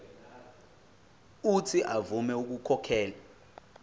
uuthi avume ukukhokhela